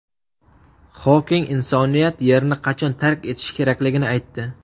Xoking insoniyat Yerni qachon tark etishi kerakligini aytdi.